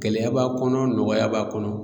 Gɛlɛya b'a kɔnɔ nɔgɔya b'a kɔnɔ